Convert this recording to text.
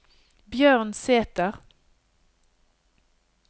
Bjørn Sæther